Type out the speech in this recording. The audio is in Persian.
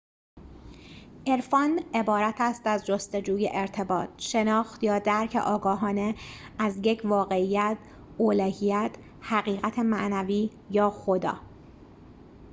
عرفان عبارت است از جستجوی ارتباط شناخت یا درک آگاهانه از یک واقعیت الوهیت حقیقت معنوی یا خدا